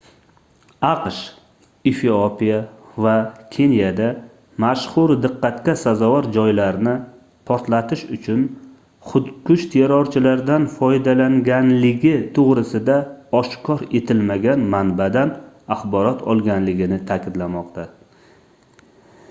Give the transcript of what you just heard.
aqsh efiopiya va keniyada mashhur diqqatga sazovor joylarni portlatish uchun xudkush terrorchilardan foydalanganligi toʻgʻrisida oshkor etilmagan manbadan axborot olganligini taʼkidlamoqda